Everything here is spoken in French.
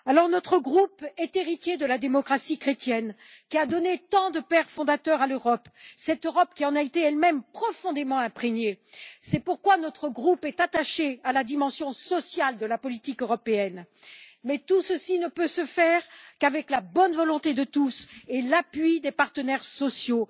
Notre groupe est héritier de la démocratie chrétienne qui a donné tant de pères fondateurs à l'Europe, cette Europe qui en a été elle même profondément imprégnée. C'est pourquoi notre groupe est attaché à la dimension sociale de la politique européenne, mais tout cela ne peut se faire qu'avec la bonne volonté de tous et l'appui des partenaires sociaux.